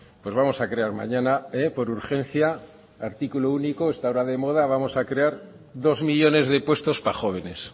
pues vamos a crear mañana por urgencia artículo único está ahora de moda vamos a crear dos millónes de puestos para jóvenes